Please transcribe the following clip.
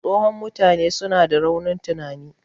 Tsohon mutane suna da raunin tunani